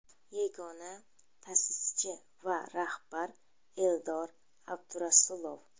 Yagona ta’sischi va rahbar Eldor Abdurasulov.